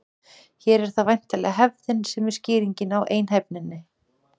Hér er það væntanlega hefðin sem er skýringin á einhæfninni.